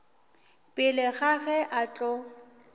pele ga ge a tlo